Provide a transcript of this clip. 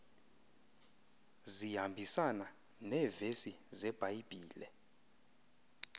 zihambisana neevesi zebhayibhile